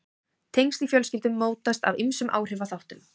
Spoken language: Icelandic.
tengsl í fjölskyldum mótast af ýmsum áhrifaþáttum